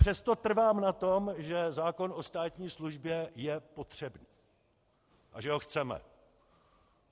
Přesto trvám na tom, že zákon o státní službě je potřebný a že ho chceme.